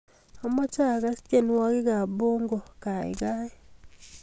Amache agas tyenwogikab pongo gaigai